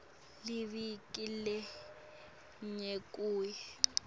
liviki linye kuya